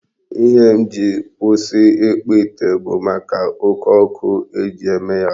Ihe m ji si kwụsị ịkpụ ite bụ maka oke ọkụ eji eme ya.